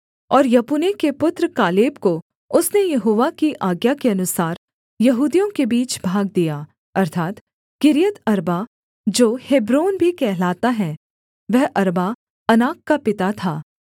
और यपुन्ने के पुत्र कालेब को उसने यहोवा की आज्ञा के अनुसार यहूदियों के बीच भाग दिया अर्थात् किर्यतअर्बा जो हेब्रोन भी कहलाता है वह अर्बा अनाक का पिता था